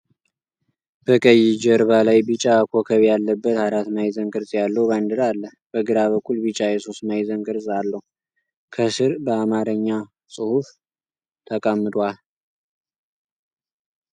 በቀይ ጀርባ ላይ ቢጫ ኮከብ ያለበት አራት ማዕዘን ቅርጽ ያለው ባንዲራ አለ። በግራ በኩል ቢጫ የሶስት ማዕዘን ቅርጽ አለው፤ ከስር በአማርኛ ጽሑፍ ተቀምጧል።